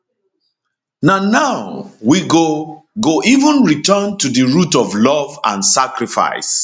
na now we go go even return to di root of love and sacrifice